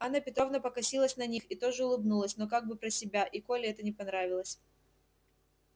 анна петровна покосилась на них и тоже улыбнулась но как бы про себя и коле это не понравилось